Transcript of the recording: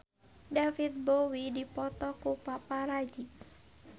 David Bowie dipoto ku paparazi